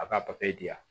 A b'a papiye di yan